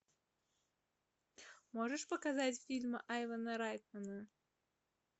можешь показать фильм айвена райтмана